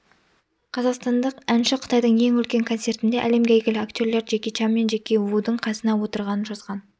қазақстандық әнші қытайдың ең үлкен концертіндеәлемге әйгілі актерлер джеки чан мен джеки вудың қасына отырғанын жазған